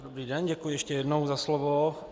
Dobrý den, děkuji ještě jednou za slovo.